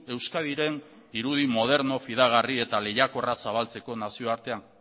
euskadiren irudi moderno fidagarri eta lehiakorra zabaltzeko nazioartean